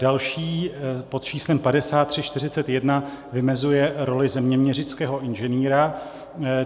Další pod číslem 5341 vymezuje roli zeměměřického inženýra.